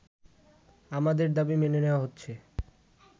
আমাদের দাবি মেনে নেওয়া হচ্ছে